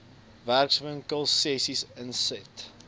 werkswinkel sessies insette